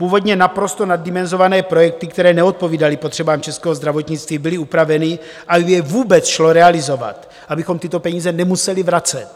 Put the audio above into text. Původně naprosto naddimenzované projekty, které neodpovídaly potřebám českého zdravotnictví, byly upraveny, aby je vůbec šlo realizovat, abychom tyto peníze nemuseli vracet.